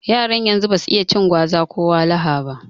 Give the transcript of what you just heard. Yaran yanzu basu iya cin gwaza ko wahala ba